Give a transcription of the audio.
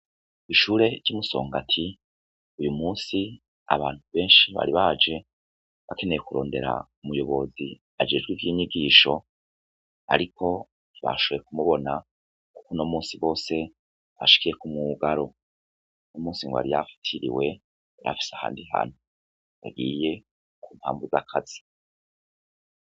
Ishure ry'i Musongati uyu musi abantu benshi bari baje bakeneye kurondera umuyobozi ajejwe ivy'inyigisho ariko ntibashoye kumubona kuko uno musi bose bashikiye ku mwugaro, uno musi ngo yari yafatiriwe yarafise ahandi hantu agiye ku mpamvu z'akazi.